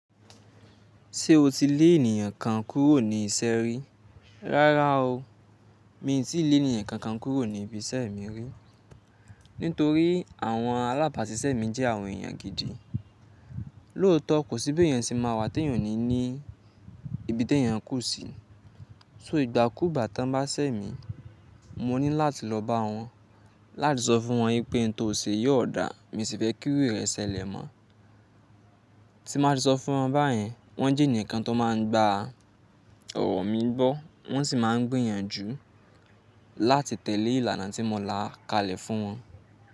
Ṣé o ti le ènìyàn kan kúrò ní iṣẹ́ rí? Rárá o, mi n tíì le ẹnìyan kankan kúrò ní ibi iṣẹ́ mi rí. Nítorí àwọn alábàásisẹ́ mi jẹ́ àwọn èeyàn gidi. Lóótọ́ kò síbí èèyàn ṣe máa wà tí èèyàn ò ní ní ibi tí èèyàn kù sí. So ìgbàkùugbá tán bá ṣẹ́ mi, mo ní láti lọ bá wọn láti sọ fún wọn wípé in tó ṣe yi ò dà, min sì fẹ́ kí irú rẹ sẹ̀lè mọ́. Tí n bá ti sọ fún wọn báyen, wọ́n jẹ́ ẹnìyan kan tó máa ń gba ọ̀rọ̀ mi gbọ́, wọ́n sì máa ń gbìyànjú láti tẹ̀lé ìlànà tí mo la kalẹ̀ fún wọn.